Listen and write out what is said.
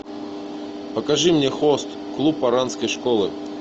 покажи мне хост клуб оранской школы